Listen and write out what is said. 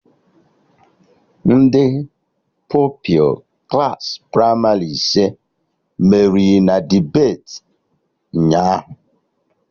Ndị Pupilụ Klassị pramarị ise meriri na debeti ụnyaahụ